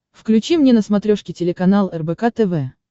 включи мне на смотрешке телеканал рбк тв